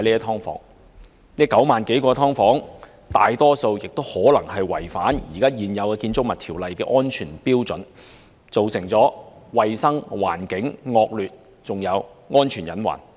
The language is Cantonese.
在這9萬多個"劏房"中，大多數均可能違反現行《建築物條例》的安全標準，造成環境衞生惡劣的問題，並構成安全隱患。